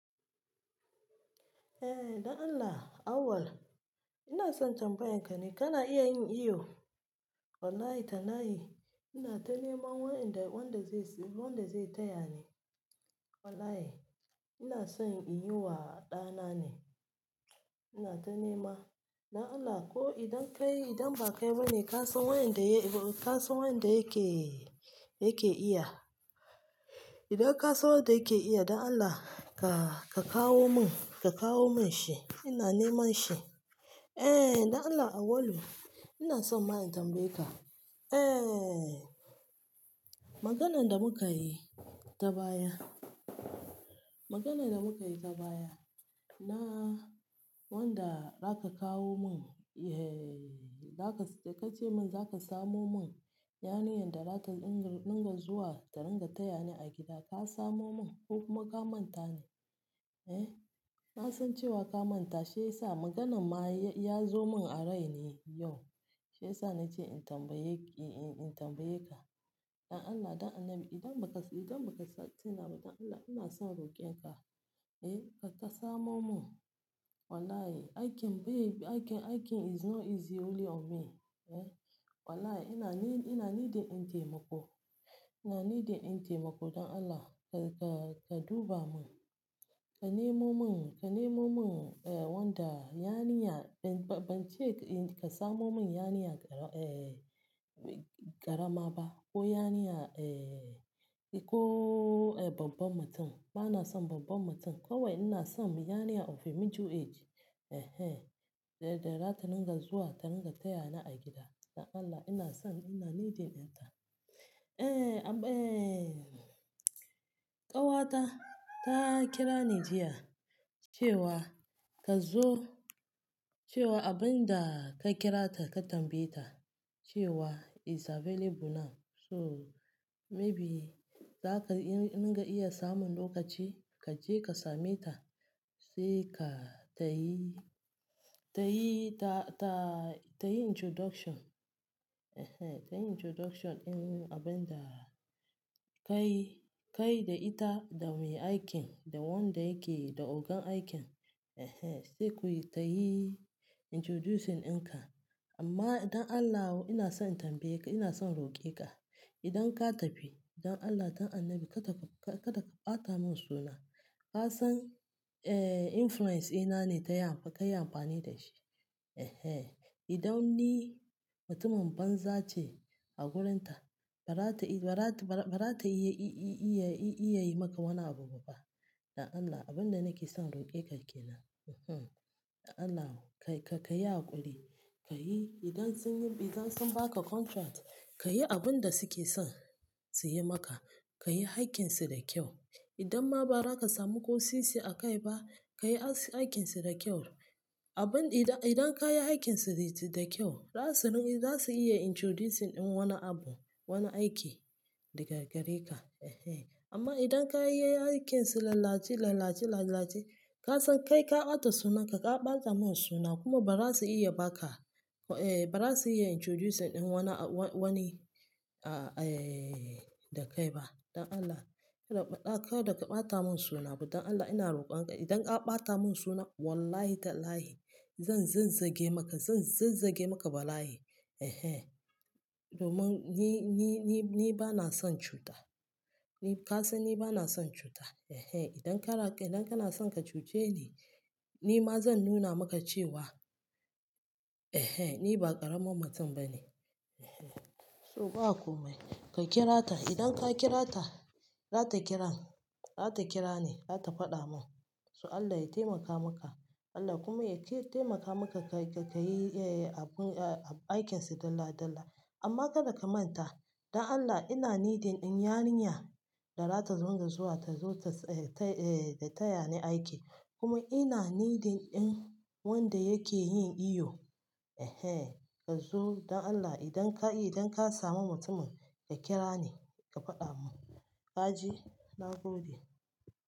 Eh, dan Allah, awal. Ina son tambaye ka ne ka na iya yin iyo? Wallahi ta layhi, ina ta nema wanda zai taya ni. Wallahi, ina son in yi wa ɗa na ne. Ina ta nema. Dan Allah, ko idan ba kai ba ne, ka san wanda yake iya. Idan ka san wanda yake iya, dan Allah, ka kawo mun shi. Ina neman shi. Eh, dan Allah, awalu. Ina son ma in tambaye ka. Eh, maganan da muka yi ta baya. Maganan da muka yi ta baya na wanda zaka kawo mun, da ka ce mun zaka samo mun yarinyar da za ta dinga zuwa ta ringa taya ni a gida, ka samo mun. Kokuma ka manta ne. Eh, na san cewa ka manta, shi ya sa maganan ma ya zo mun a rai ne yau. Shi ya sa na ce in tambaye ka. Dan Allah dan Annabi, idan ba ka tina ba, dan Allah, ina son roƙen ka. Eh, ka samo mun. Wallahi, aikin is not easy only on me. Wallahi, ina needing ɗin taimako. Ina needing ɗin taimako. Dan Allah, ka duba mun. Ka nemo mun wanda yarinya, ban ce ka samo mun yarinya ƙarama ba ko babba mutum. Ba na son babba mutum. Kawai ina son yarinya of a middle age, eh eh, da za ta dinga zuwa ta ringa taya ni a gida. Dan Allah, ina son, ina needing ɗin ta. Eh, ƙawata ta kira ni jiya cewa ka zo, cewa abin da ka kira ta ka tambaye ta cewa is available now. So maybe in ka iya samun lokaci, ka je ka same ta. Sai ka ta yi introduction, ta yi introduction din abin da kai da ita da mai aikin da wanda yake da ogan aikin. Eh eh, sai ku yi ta yi introducing ɗin ka. Amma dan Allah, ina son tambaye ka, ina son roƙe ka. Idan ka tafi, dan Allah, dan annabi kada ka ɓata mun suna. Ka san influence ina ne, ka yi amfani da shi. Eh eh, idan ni mutumin banza ce a wurin ta, ba za ta iya yi maka wani abu ba pa. Dan Allah, abin da nake son roƙe ka ke nan. Dan Allah, ka yi haƙuri. Idan sun ba ka contract, ka yi abin da su ke son su yi maka. Ka yi aikinsu da kyau. Idan ma ba za ka samu kosisi a kai ba, ka yi aikinsu da kyau. Idan ka yi aikinsu da kyau, za su iya introducing wani abu, wani aiki daga gare ka. Eh eh. Amma idan ka yi aikinsu lallaci lallaci lallaci, ka san kai ka ɓata sunan ka, ka ɓata mun suna. Kuma ba za su iya ba ka, ba za su iya introducing wani da kai ba. Dan Allah, kada ka ɓata mun suna. Dan Allah, ina roƙon ka. Idan ka ɓata mun suna, wallahi ta layhi, zan zazzage maka. Zan zazzage maka balai eh eh. Domin ni ba na son cuta. Ka san ni ba na son cuta. Eh eh. Idan kana son ka cuce ni, ni ma zan nuna maka cewa, eh eh, ni ba ƙaramin mutum ba ne. So, ba komai. Ka kira ta. Idan ka kira ta, za ta kira ni, za ta faɗa mun. So Allah ya taimaka maka. Allah kuma yataimaka maka kayi aikinsu dalla dalla. Amma kada ka manta. Dan Allah, ina needing ɗin yarinya da za ta ringa zuwa ta zo ta taya ni aiki. Kuma ina needin ɗin wanda yake yin iyo. Eh eh, ka zo. Dan Allah, idan ka samu mutumin, ka kira ni, ka faɗa mun. Ka ji? Na gode.